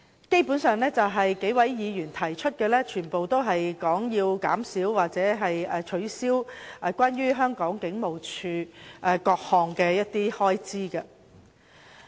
基本上，數位議員提出的修正案均涉及削減或取消香港警務處的各項開支。